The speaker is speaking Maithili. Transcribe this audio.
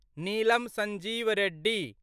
नीलम संजीव रेड्डी